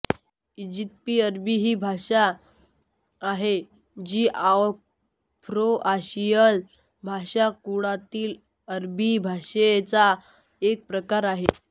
aegypti अरबी ही एक भाषा आहे जी आफ्रोआशियन भाषाकुळातील अरबी भाषेचा एक प्रकार आहे